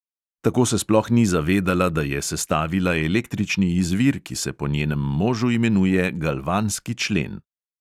Tako se sploh ni zavedala, da je sestavila električni izvir, ki se po njenem možu imenuje galvanski člen.